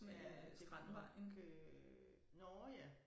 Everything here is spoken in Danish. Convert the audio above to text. Ja det var nok øh nåh ja